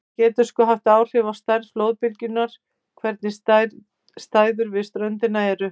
Það getur svo haft áhrif á stærð flóðbylgjunnar hvernig aðstæður við ströndina eru.